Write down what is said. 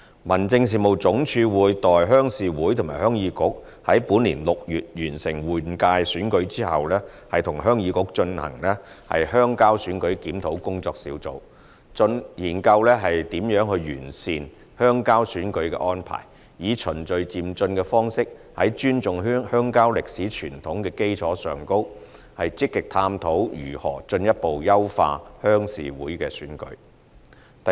民政事務總署會待鄉事會和鄉議局於本年6月完成換屆選舉後，與鄉議局舉行"鄉郊選舉檢討工作小組"會議，研究如何完善鄉郊選舉的安排，以循序漸進的方式，在尊重鄉郊歷史傳統的基礎上，積極探討如何進一步優化鄉事會選舉。